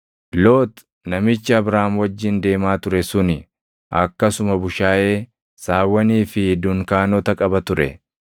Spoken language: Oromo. Loox namichi Abraam wajjin deemaa ture suni akkasuma bushaayee, saawwanii fi dunkaanota qaba ture.